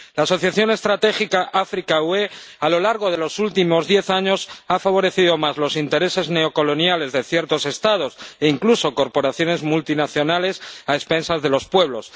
La asociación estratégica África-UE a lo largo de los últimos diez años ha favorecido más los intereses neocoloniales de ciertos Estados, e incluso corporaciones multinacionales, a expensas de los pueblos.